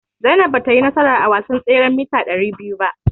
Zainab batayi nasara a wasan tseren mita ɗari biyu ba.